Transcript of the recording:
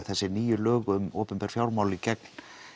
þessi nýju lög um opinber fjármál í gegn